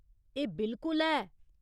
एह् बिलकुल है।